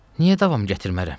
Niyə davam gətirmərəm?